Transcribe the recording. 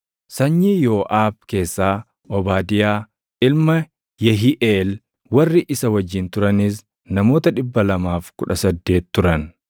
sanyii Yooʼaab keessaa Obaadiyaa ilma Yehiiʼeel; warri isa wajjin turanis namoota 218 turan;